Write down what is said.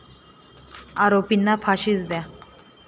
आरोपींना फाशीच द्या!